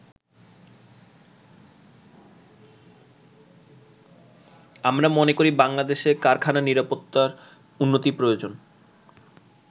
আমরা মনে করি বাংলাদেশে কারখানা নিরাপত্তার উন্নতি প্রয়োজন।